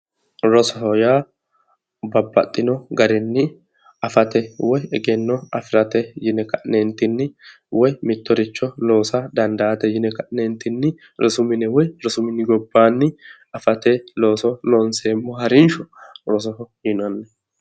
Rosoho yaa babbaxino garinni afate woyi egenno afirate yine ka'neentinni mittoricho loosa dandaate yine ka'neentinni rosu mine woyi rosu mini gobbaanni afate looso loonseemmo harrinshsha loosoho yinanni.